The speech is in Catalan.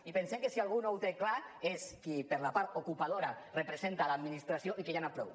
i pensem que si algú no ho té clar és qui per la part ocupadora representa l’administració i que ja n’hi ha prou